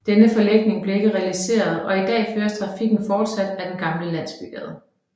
Denne forlægning blev ikke realiseret og i dag føres trafikken fortsat ad den gamle landsbygade